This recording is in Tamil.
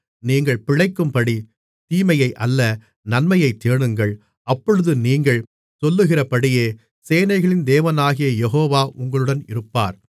நீங்கள் பிழைக்கும்படி தீமையை அல்ல நன்மையைத் தேடுங்கள் அப்பொழுது நீங்கள் சொல்லுகிறபடியே சேனைகளின் தேவனாகிய யெகோவா உங்களுடன் இருப்பார்